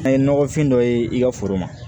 An ye nɔgɔfin dɔ ye i ka foro ma